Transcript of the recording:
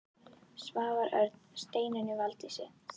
Svavar Örn: Steinunni Valdísi?